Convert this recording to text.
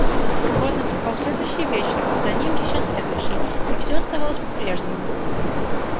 но вот наступал следующий вечер а за ним ещё следующий и всё оставалось по-прежнему